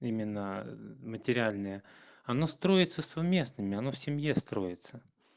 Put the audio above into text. именно материальные оно строится совместными оно в семье строится